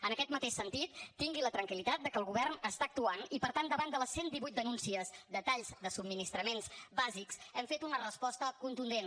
en aquest mateix sentit tingui la tranquil·litat que el govern està actuant i per tant davant de les cent divuit denúncies de talls de subministraments bàsics hem fet una resposta contundent